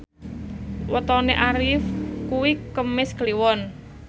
wetone Arif kuwi Kemis Kliwon